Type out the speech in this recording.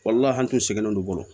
Walahi an tun sɛgɛnnen don olu bolo